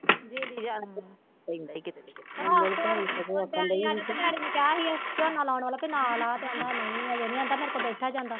daddy ਆਇਆ ਤੇ daddy ਨੂੰ ਕਿਹਾ ਸੀ ਝੋਨਾ ਲਾਉਣ ਵਾਲਾ ਤੇ ਨਾ ਲਾ ਕਹਿੰਦਾ ਨਹੀਂ ਹਜੇ ਨੀ ਅੰਦਾ ਮੇਰੇ ਕੋਲ ਬੈਠਾ ਨੀ ਜਾਂਦਾ